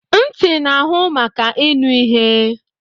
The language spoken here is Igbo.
Ntị na-ahụ maka ịnụ ihe